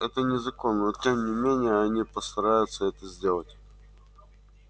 это незаконно но тем не менее они постараются это сделать